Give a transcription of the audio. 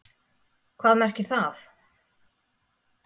Hvað merkir það?